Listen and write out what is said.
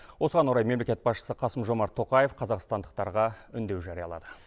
осыған орай мемлекет басшысы қасым жомарт тоқаев қазақстандықтарға үндеу жариялады